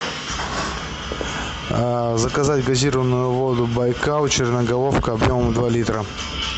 а заказать газированную воду байкал черноголовка два литра